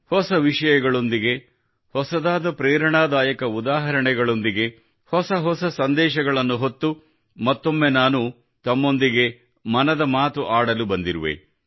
ಹೊಸ ವಿಷಯಗಳೊಂದಿಗೆ ಹೊಸದಾದ ಪ್ರೇರಣಾದಾಯಕ ಉದಾಹರಣೆಗಳೊಂದಿಗೆ ಹೊಸ ಹೊಸ ಸಂದೇಶಗಳನ್ನು ಹೊತ್ತು ಮತ್ತೊಮ್ಮೆ ನಾನು ತಮ್ಮೊಂದಿಗೆ ಮನದ ಮಾತು ಆಡಲು ಬಂದಿರುವೆ